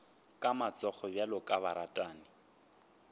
ka matsogo bjalo ka baratani